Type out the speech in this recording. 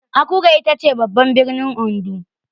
Akure itace babban birnin Ondo.